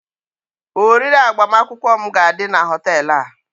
oriri agbamakwụkwọ m ga-adị na họtel a